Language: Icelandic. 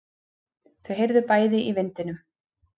Þau heyrðu bæði í vindinum.